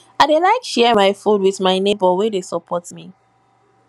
i dey like share my food wit my nebor wey dey support me